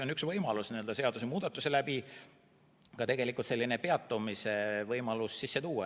Aga üks võimalus on seadusemuudatusega ka peatamise võimalus sisse tuua.